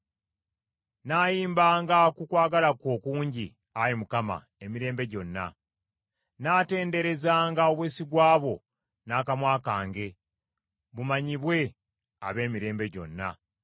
Nnaayimbanga ku kwagala kwo okungi, Ayi Mukama , emirembe gyonna. Nnaatenderezanga obwesigwa bwo n’akamwa kange, bumanyibwe ab’emirembe gyonna.